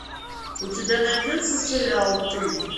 у тебя найдется сериал ты